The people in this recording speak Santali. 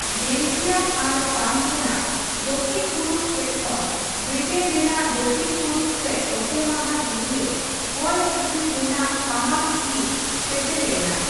ᱵᱮᱞᱞᱡᱤᱠᱭᱟᱢ ᱟᱨ ᱯᱨᱟᱱᱥ ᱨᱮᱱᱟᱜ ᱫᱚᱠᱷᱤᱱᱼᱯᱩᱨᱩᱵ ᱥᱮᱪ ᱠᱷᱚᱱ ᱵᱨᱤᱴᱮᱱ ᱨᱮᱱᱟᱜ ᱫᱚᱠᱷᱤᱱᱼᱯᱩᱨᱩᱵ ᱥᱮᱪ ᱚᱛᱮ ᱢᱟᱦᱟ ᱫᱷᱩᱨᱤᱭᱟᱹ ᱦᱚᱭ ᱦᱤᱥᱤᱫ ᱨᱮᱱᱟᱜ ᱥᱟᱢᱟᱝ ᱦᱤᱸᱥ ᱥᱮᱴᱮᱨ ᱞᱮᱱᱟ ᱾